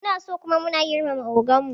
Munaso kuma muna girmama ogan mu